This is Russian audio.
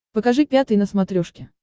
покажи пятый на смотрешке